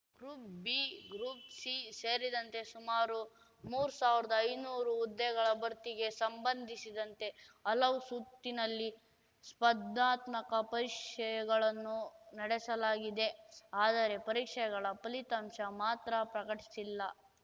group B group C ಸೇರಿದಂತೆ ಸುಮಾರು ಮೂರ್ ಸಾವಿರ್ದ್ ಐನೂರು ಹುದ್ದೆಗಳ ಭರ್ತಿಗೆ ಸಂಬಂಧಿಸಿದಂತೆ ಹಲವು ಸುತ್ತಿನಲ್ಲಿ ಸ್ಪರ್ಧಾತ್ಮಕ ಪರೀಕ್ಷೆಗಳನ್ನು ನಡೆಸಲಾಗಿದೆ ಆದರೆ ಪರೀಕ್ಷೆಗಳ ಫಲಿತಾಂಶ ಮಾತ್ರ ಪ್ರಕಟಿಸಿಲ್ಲ